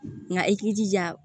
Nka i k'i jija